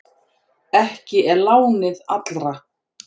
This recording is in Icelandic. Ekki er lánið allra.